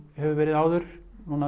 hefur verið áður